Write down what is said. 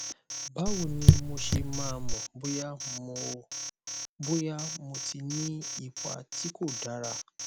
báwo ni mo ṣe máa mọ bóyá mo bóyá mo ti ní ipa tí kò dára